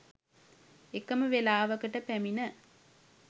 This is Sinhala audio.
එකම වේලාවකට පැමිණ